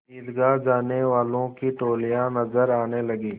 ईदगाह जाने वालों की टोलियाँ नजर आने लगीं